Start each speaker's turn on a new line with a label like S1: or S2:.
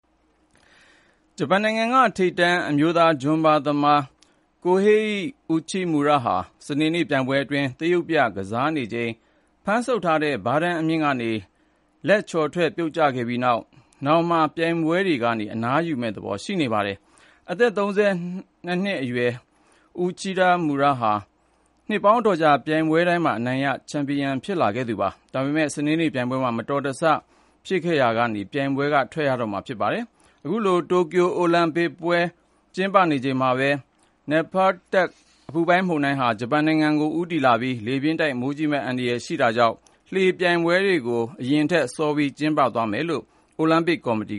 S1: ဂျပန်နိုင်ငံက ထိပ်တန်း အမျိုးသား ဂျွမ်းဘားသမား Kohei Uchimura ဟာ စနေနေ့ ပြိုင်ပွဲအတွင်း သရုပ်ပြ ကစားနေချိန် ဖမ်းဆုပ်ထားတဲ့ ဘားတန်းအမြင့်ကနေ လက် ချော်ထွက် ပြုတ်ကျခဲ့ပြီးနောက် ၊ နောင်မှာ ပြိုင်ပွဲ တွေကနေ အနားယူမယ့်သဘော ရှိနေပါတယ်။ အသက် ၃၂ အရွယ် Uchimura ဟာ နှစ်ပေါင်းအတော်ကြာ ပြိုင်ပွဲတိုင်းမှာအနိုင်ရ ချန်ပီယံဖြစ်ခဲ့သူပါ။ ဒါပေမယ့် စနေ့နေ့ပြိုင်ပွဲမှာ မတော်တဆ ပြုတ်ကျခဲ့တာကြောင့် ပြိုင်ပွဲကနေ ထွက်ရတော့မှာဖြစ်ပါတယ်။ အခုလို တိုကျိုအိုလံပစ်ပွဲ စတင်နေချိန်မှာပဲ Nepartak အပူပိုင်းမုန်တိုင်းကလည်း ဂျပန်နိုင်ငံကို ဦးတည်လာနေပြီး လေးပြင်းတိုက်၊ မိုးကြီးမယ့် အန္တရာယ် ရှိနေပါတယ်။ ဒါကြောင့် တချို့ လှေလှော်ပြိုင်ပွဲတွေကို နဂိုအစီအစဉ်ထက် စောပြီးကျင်းပသွားဖို့ အိုလံပစ်ကော်မတီ